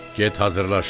Get hazırlaş.